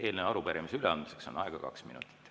Eelnõu ja arupärimise üleandmiseks on aega kaks minutit.